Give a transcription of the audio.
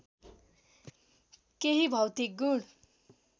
केही भौतिक गुण